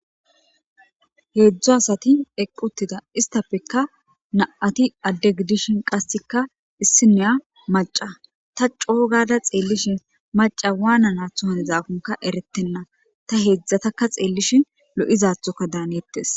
Hedzdzu asati eqi utida , estappeka na7ati adde giddishin qasekka issiniya macca ta coo gada xeelishin maccay wananaato hanizaako eretena. Ta heedzdzataka xeelishin lo7izaathoka daaneettees.